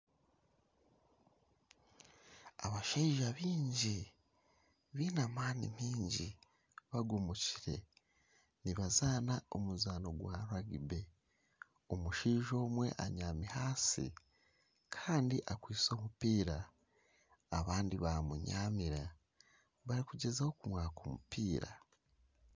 Abashaija baingi baine amaani mingi bagomokire, nibazaana omuzaano gwa rugibe, omushaija omwe abyami ahansi kandi akwitse omupiira abandi bamubyamira barikugyezaho kumwaka omupiira